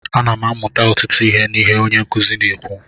Ana m amụta ọtụtụ ihe n'ihe onye nkuzi na-ekwu